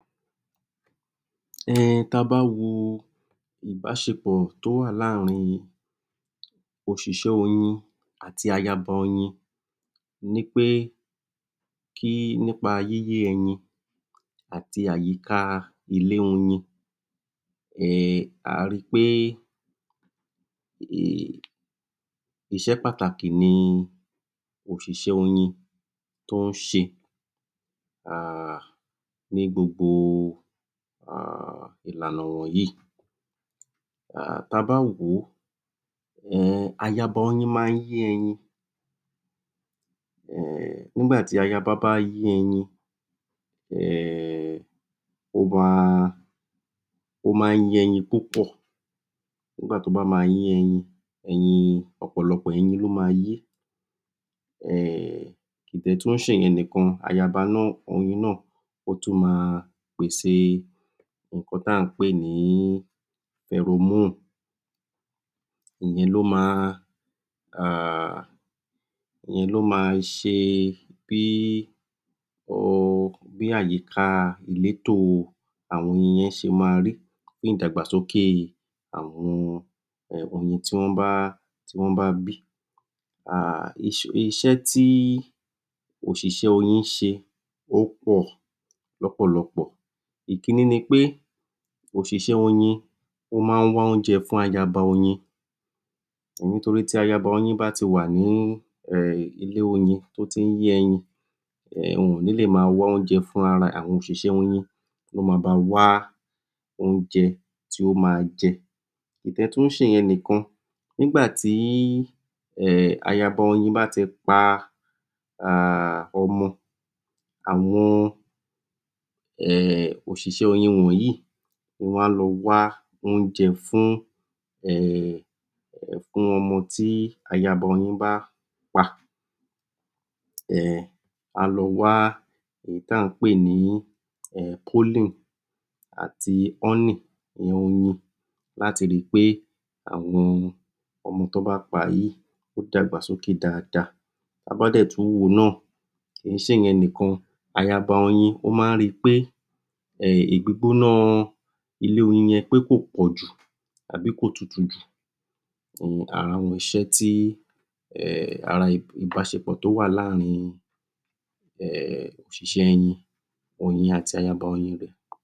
um ta bá wo ìbáṣepọ̀ tó wà láàárín òṣìṣẹ́ oyin àti ayaba oyin ní pé kí nípa yíyé ẹyin àti àyíká ilé oyin um a ri pé um iṣẹ́ pàtàkì ni òṣìṣẹ́ oyin tó ń ṣe um ní gbogbo um ìlànà wọ̀n yí um tabá wòó um ayaba oyin máa ń yé ẹyin um nígbàtí ayaba bá yé ẹyin um ó wá ó máa ń yé ẹyin tó pọ̀ nígbàtí ó bá ma yé ẹyin ẹyin, ọ̀pọ̀lọpọ̀ ẹyin ló ma yẹ́ um kò dẹ̀ tún ń ṣe ìyẹn níkan, ayaba náà, oyin náà ó tún máa pèsè nǹkan tí à ń pè ní Aeromole ìyẹn ló ma um ìyẹn ló ma ṣe bí o bí àyíkà ìlétò àwọn oyin yẹn ṣe ma rí fún ìdàgbàsókè àwọn oyin tí wọ́n bá tí wọ́n bá bí um iṣẹ́ tí òṣìṣẹ́ oyin ń ṣe o pọ̀ lọ́pọ̀lọpọ̀ ìkííní ni pé òṣìṣẹ́ oyin ó máa ń wá oúnjẹ fún ayaba oyin nítorípé tí ayaba oyin bá ti wà ní ilé oyin tó tí ń yé oyin wọn ò nílè ma wá oúnjẹ fúnrara ẹ̀, àwọn òṣìṣẹ́ oyin ló ma ba wá oúnjẹ tí ó ma jẹ kò dẹ̀ tún ń ṣe ìyẹn nìkan nígbàtí um ayaba oyin bá ti pa um ọmọ àwọn um òṣìṣẹ́ oyin wọnyìí wọ́n á lọ wá oúnjẹ fún um fún ọmọ tí ayaba oyin bá pa um á lọ wá èyí tí à ń pè ní um polling àti honey ìyẹn oyin láti ri pé àwọn ọmọ tí wọ́n bá pa yìí ó dàgbà sókè dáadáa ta bá dẹ̀ tún wòó náà kìí ṣe ìyẹn nìkan ayaba oyin, ó máa ń ri pé um ìgbígbóná ilé oyin yẹn pé kò pọ̀jù àbí kò tutù jù um ara àwọn iṣẹ́ tí um ara ìbáṣepọ̀ tí ó wà láàárín um òṣìṣẹ́ oyin oyin àti ayaba oyin ibẹ̀